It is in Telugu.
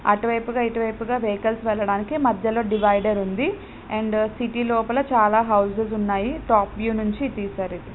అటు వైపు గ ఇటు వైపు గ వెహికల్స్ వెళ్ళడానికి మద్యలో డీవైడర్ ఉంది. అండ్ సిటీ లోపల చాలా హౌస్ స్ ఉన్నాయి. టాప్ వ్యూ నుంచి తీశారు ఇధి.